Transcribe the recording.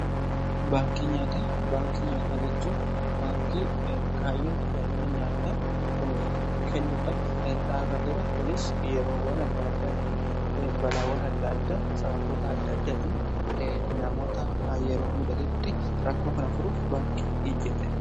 baankii nyaataa jechuun baankii kaayyoo tajaajila nyaataa kennuudhaf dhaabateedha. kunis yeroowwan adda addaatti balaawwan adda adda sababota adda addaatiin namoota yeroo muddatutti rakkoo kana furuuf baankii dhaabbatedha.